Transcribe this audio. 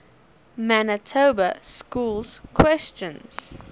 manitoba schools question